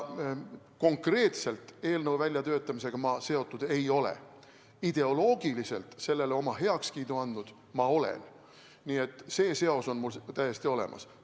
Konkreetselt eelnõu väljatöötamisega ma seotud ei ole, ideoloogiliselt ma sellele oma heakskiidu andnud olen, nii et seos on mul täiesti olemas.